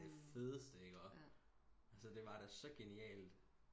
Det fedeste i ikke også altså det var da så genialt